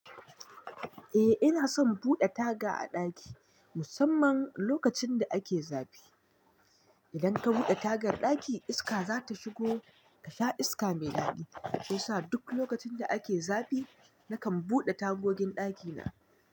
Eh ina son buɗe taga a ɗaki, musamman lokacin da ake zafi. Idan ta buɗe tagar ɗaki iska za ta shigo ta sha iska mai daɗi, sosa duk lokacin da ake zafi nakan buɗe tagogin ɗakina.